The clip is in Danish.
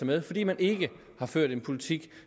med fordi man ikke har ført en politik